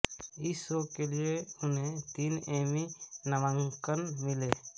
इस शो के लिए उन्हें तीन एमी नामांकन मिले